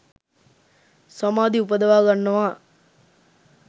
සමාධි උපදවා ගන්නවා